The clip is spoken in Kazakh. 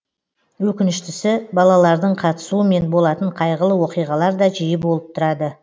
өкініштісі балалардың қатысуымен болатын қайғылы оқиғалар да жиі болып тұрады